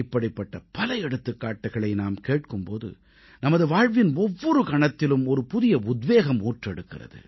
இப்படிப்பட்ட பல எடுத்துக்காட்டுக்களை நாம் கேட்கும் போது நமது வாழ்வின் ஒவ்வொரு கணத்திலும் ஒரு புதிய உத்வேகம் ஊற்றெடுக்கிறது